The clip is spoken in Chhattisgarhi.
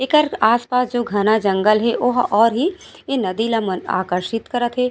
एकर आस-पास जो घना जंगल हे ओहा और ही इ नदी ल आकर्षित करत हे।